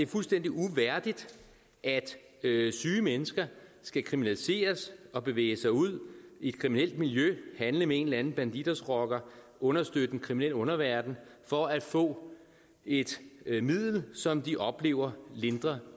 fuldstændig uværdigt at syge mennesker skal kriminaliseres og bevæge sig ud i et kriminelt miljø handle med en eller anden bandidosrocker og understøtte den kriminelle underverden for at få et et middel som de oplever lindrer